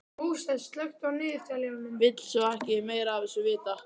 Vill svo ekki meira af þessu vita.